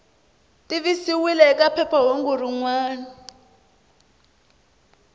tivisiwile eka phephahungu rin wana